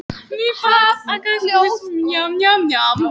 Í daglegu tali er hann víst kallaður séra